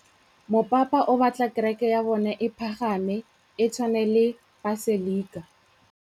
Mopapa o batla kereke ya bone e pagame, e tshwane le paselika.